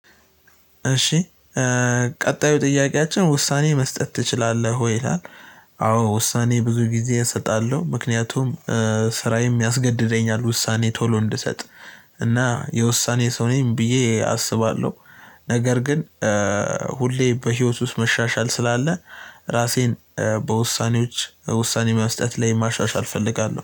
እሺ ቀጣዩ ጥያቄያችን ውሳኔ መስጠት ትችላለህ ወይ ይላል? አዎ ውሳኔ ብዙ ጊዜ እሰጣለሁ ምክንያቱም ስራዬም ያስገድደኛል ውሳኔ ቶሎ እንድሰጥ። እና የውሳኔ ሰው ነኝ ብዬ አስባለሁ። ነገር ግን ሁሌ በህይወት ውስጥ መሻሻል ስላለ። ራሴን በውሳኔዎች ውሳኔ መስጠት ላይ ማሻሻል እፈልጋለሁ